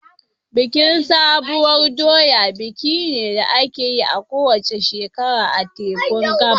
Bikin sabuwar doya biki ne da ake yi a kowace shekara a tekun Gabas.